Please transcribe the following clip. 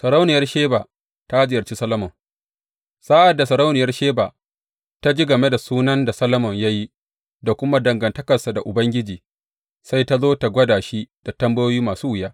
Sarauniyar Sheba ta ziyarci Solomon Sa’ad da sarauniyar Sheba ta ji game da sunan da Solomon ya yi, da kuma dangantakarsa da Ubangiji, sai ta zo tă gwada shi da tambayoyi masu wuya.